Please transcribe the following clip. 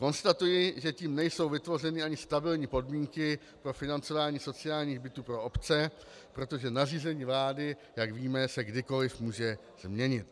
Konstatuji, že tím nejsou vytvořeny ani stabilní podmínky pro financování sociálních bytů pro obce, protože nařízení vlády, jak víme, se kdykoli může změnit.